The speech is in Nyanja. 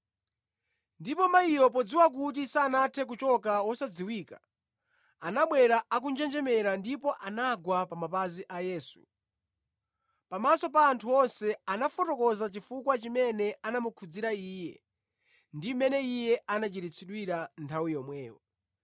Ndipo mayiyo podziwa kuti sanathe kuchoka wosadziwika, anabwera akunjenjemera ndipo anagwa pa mapazi a Yesu. Pamaso pa anthu onse, anafotokoza chifukwa chimene anamukhudzira Iye ndi mmene iye anachiritsidwira nthawi yomweyo.